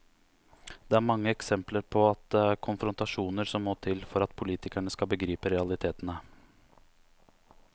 Det er mange eksempler på at det er konfrontasjoner som må til, for at politikerne skal begripe realitetene.